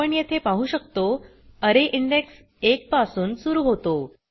आपण येथे पाहु शकतो अरे इंडेक्स एक पासून सुरू होतो